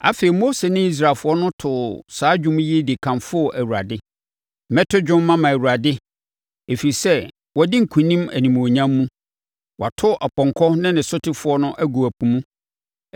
Afei, Mose ne Israelfoɔ too saa dwom yi de kamfoo Awurade: “Mɛto dwom mama Awurade, ɛfiri sɛ, wadi nkonim animuonyam mu; Wato ɔpɔnkɔ ne ne sotefoɔ no agu ɛpo mu.